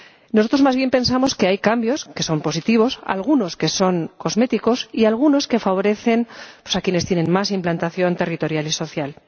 Nosotros, más bien pensamos que hay cambios que son positivos, algunos que son cosméticos y algunos que favorecen a quienes tienen más implantación territorial y social.